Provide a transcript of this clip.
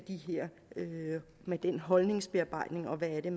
med den holdningsbearbejdning og hvad det